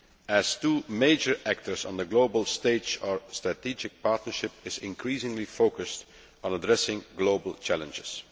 As two major actors on the global stage, our strategic partnership is increasingly focused on addressing global challenges.